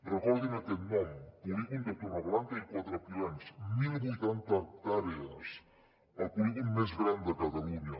recordin aquest nom polígon de torreblanca i quatre pilans mil vuitanta hectàrees el polígon més gran de catalunya